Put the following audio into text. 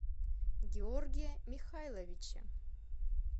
георгия михайловича